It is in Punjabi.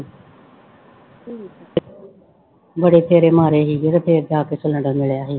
ਬੜੇ ਫੇਰੇ ਮਾਰੇ ਸੀ ਤੇ ਫਿਰ ਜਾ ਕੇ ਸਿਲੈਂਡਰ ਮਿਲਿਆ ਸੀ।